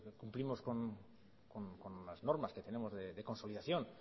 cumplimos con las normas que tenemos de consolidación